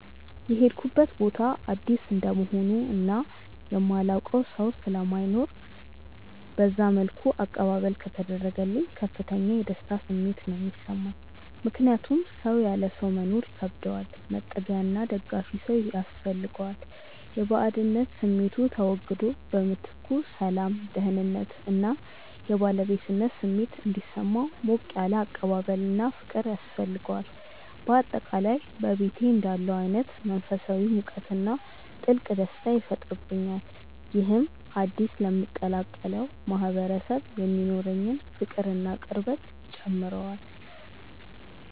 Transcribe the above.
የሄድኩበት ቦታ አዲስ እንደመሆኑ እና የማላውቀው ሰው ስለማይኖር በዛ መልኩ አቀባበል ከተደረገልኝ ከፍተኛ የደስታ ስሜት ነው የሚሰማኝ። ምክንያቱም ሰው ያለ ሰው መኖር ይከብደዋል፤ መጠጊያና ደጋፊ ሰው ያስፈልገዋል። የባዕድነት ስሜቱ ተወግዶ በምትኩ ሰላም፣ ደህንነት እና የባለቤትነት ስሜት እንዲሰማው ሞቅ ያለ አቀባበልና ፍቅር ያስፈልገዋል። በአጠቃላይ በቤቴ እንዳለሁ አይነት መንፈሳዊ ሙቀትና ጥልቅ ደስታ ይፈጥርብኛል። ይህም አዲስ ለምቀላቀለው ማህበረሰብ የሚኖረኝን ፍቅርና ቅርበት ይጨምረዋል።